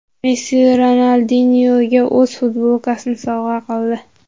Messi Ronaldinyoga o‘z futbolkasini sovg‘a qildi.